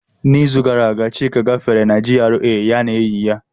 N'izu gara aga, Chika gafere na GRA ya na enyi ya.